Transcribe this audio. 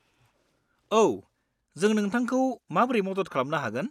औ, जों नोंथांखौ माब्रै मदद खालामनो हागोन?